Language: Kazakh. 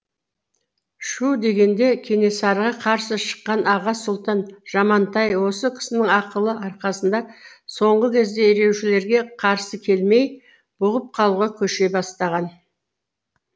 шүу дегенде кенесарыға қарсы шыққан аға сұлтан жамантай осы кісінің ақылы арқасында соңғы кезде ереуілшілерге қарсы келмей бұғып қалуға көше бастаған